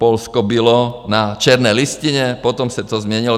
Polsko bylo na černé listině, potom se to změnilo.